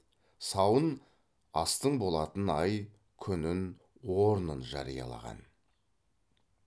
сауын астың болатын ай күнін орнын жариялаған